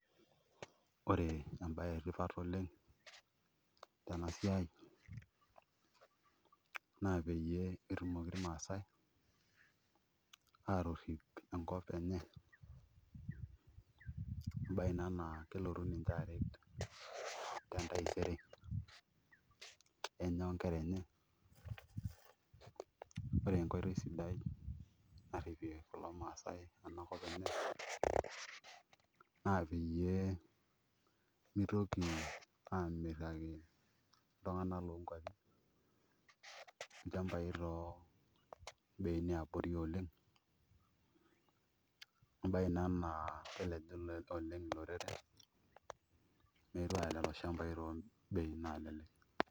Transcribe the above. Oree embayee eetipat tenaa siai naa peyiee etumokii irmasae aatorip enkop enye ambaee ina naa kelotuu ninyee aret tentaisere enyee oonkera enye oree enkotoii sidai naripie irmasae enkop enye naa peyiee mitoki amirakii irkuliee tunganak too beinii yiaa boori oleng